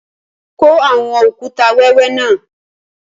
Kọ awọn okùtà wẹwẹ náà!